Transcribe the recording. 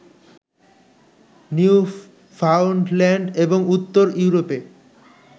new ফাউন্ডল্যান্ড এবং উত্তর ইউরোপে